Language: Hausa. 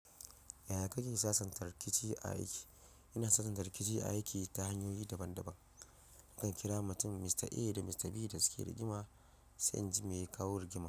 Yaya kake sasanta rikici a aiki? Ina sasanta rikici a aiki ta hanyoyi daban-daban. Zan kira mutum, "Mr A" da "Mr B" da suke rigima, sai an ji me ya kawo rigimar.